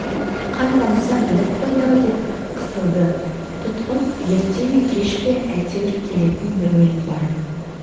қан тамса біліп қояды-ау деп қысылды тұтқын ерте ме кеш пе әйтеуір келетін бір өлім бар